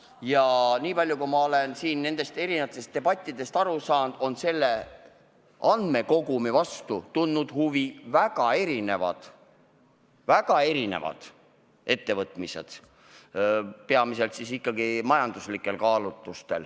Ja niipalju, kui ma olen siin nendest debattidest aru saanud, on selle andmekogumi vastu tuntud huvi väga erinevate ettevõtmiste raames, peamiselt ikkagi majanduslikel kaalutlustel.